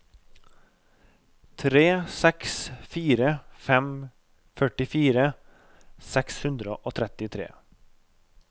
tre seks fire fem førtifire seks hundre og trettitre